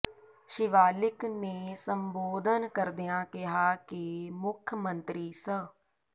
ਸ਼ਿਵਾਲਿਕ ਨੇ ਸੰਬੋਧਨ ਕਰਦਿਆਂ ਕਿਹਾ ਕਿ ਮੁੱਖ ਮੰਤਰੀ ਸ